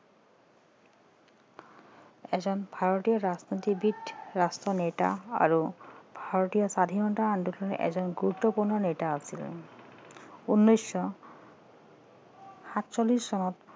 এজন ভাৰতীয় ৰাজনীতিবিদ ৰাষ্ট্ৰনেতা আৰু ভাৰতীয় স্বাধীনতা আন্দোলনৰ এজন গুৰুত্বপূৰ্ণ নেতা আছিল উনৈছশ সাতচল্লিচ চনত